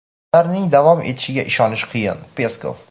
ularning davom etishiga ishonish qiyin – Peskov.